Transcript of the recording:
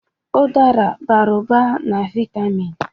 Udara bara ụba na vitamịn.